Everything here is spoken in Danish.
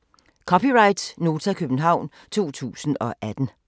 (c) Nota, København 2018